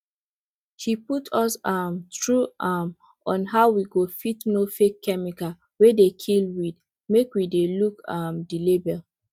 she put us um through um on how we go fit know fake chemical wey dey kill weed make we dey look um the label